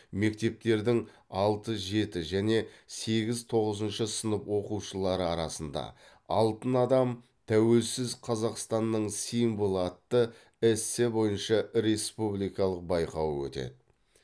мектептердің алты жеті және сегіз тоғызыншы сынып оқушылары арасында алтын адам тәуелсіз қазақстанның символы атты эссе бойынша республикалық байқауы өтеді